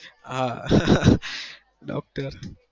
હા docter